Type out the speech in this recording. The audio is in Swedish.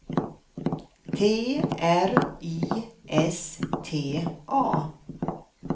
T R I S T A